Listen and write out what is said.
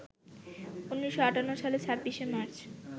১৯৫৮ সালের ২৬শে মার্চ